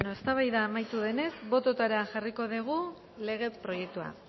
bueno eztabaida amaitu denez bototara jarriko dugu lege proiektua